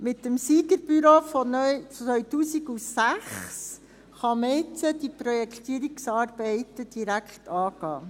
Mit dem Siegerbüro von 2006 kann man jetzt diese Projektierungsarbeiten direkt angehen.